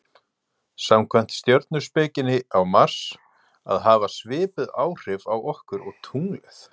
samkvæmt stjörnuspekinni á mars að hafa svipuð áhrif okkur og tunglið